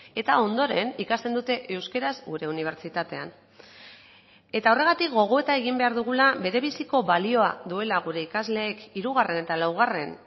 eta ondoren ikasten dute euskaraz gure unibertsitatean eta horregatik gogoeta egin behar dugula berebiziko balioa duela gure ikasleek hirugarren eta laugarren